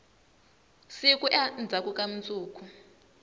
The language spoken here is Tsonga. siku endzhaku ka mundzuku